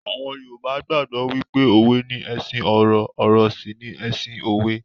Àwọn Yorùbá gbàgbó wípé òwe ni ẹṣin ọ̀rọ̀, ọ̀rọ̀ sì ni ẹṣin òwe.